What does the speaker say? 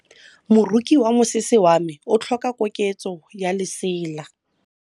Moroki wa mosese wa me o tlhoka koketsô ya lesela.